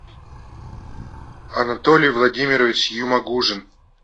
анатолий владимирович юмагужин